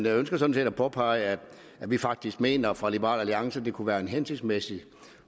ønsker sådan set at påpege at vi faktisk mener fra liberal at det kunne være en hensigtsmæssig